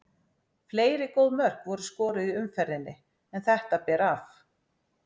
Fleiri góð mörk voru skoruð í umferðinni en þetta ber af.